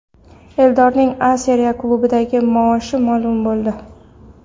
Eldorning A Seriya klubidagi maoshi ma’lum bo‘ldi !